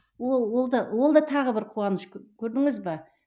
ол ол да ол да тағы бір қуаныш көрдіңіз бе